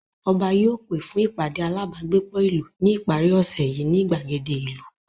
Ọba yóò pè fún ìpàdé alábágbépọ̀ ìlú ní ìparí ọ̀sẹ̀ yìí ní ìgbàgede ìlú